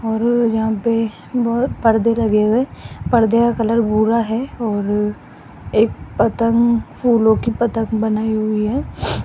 और यहां पे बहो परदे लगे हुए पर्दे का कलर भूरा है और एक पतंग फूलों की पतंग बनाई हुई है।